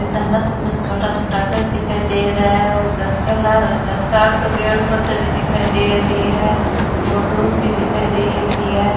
नीच मस्त मस्त छोटा छोटा घर दिखाई दे रहा है और घर के लार घर के आगे पेड पौधा भी दिखाई दे रहा है और दूब भी दिखाई दे रही है।